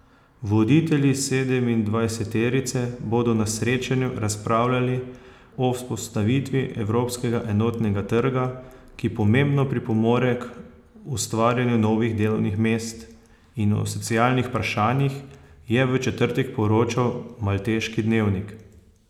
Voditelji sedemindvajseterice bodo na srečanju razpravljali o vzpostavitvi evropskega enotnega trga, ki pomembno pripomore k ustvarjanju novih delovnih mest, in o socialnih vprašanjih, je v četrtek poročal malteški dnevnik.